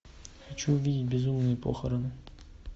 хочу увидеть безумные похороны